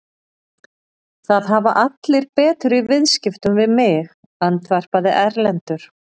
Það hafa allir betur í viðskiptum við mig, andvarpaði Erlendur.